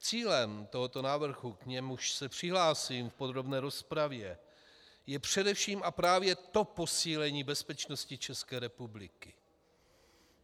Cílem tohoto návrhu, k němuž se přihlásím v podrobné rozpravě, je především a právě to posílení bezpečnosti České republiky.